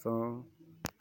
sɔŋ